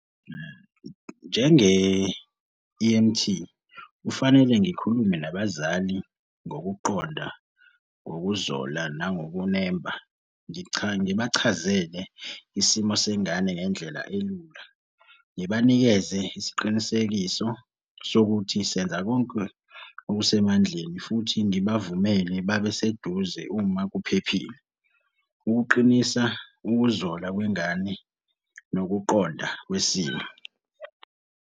Njenge-E_M_T, kufanele ngikhulume nabazali ngokuqonda ngokuzola nangokunembe. Ngibachazele isimo sengane ngendlela elula. Ngibanikeze isiqinisekiso sokuthi senza konke okusemandleni futhi ngibavumele babe seduze uma kuphephile. Ukuqinisa ukuzola kwengane nokuqonda kwesimo.